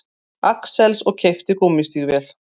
Axels og keypti gúmmístígvél.